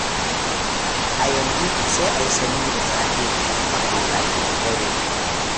A yanzu sai a yi sanyi da safe, kuma a yi zafi da dare.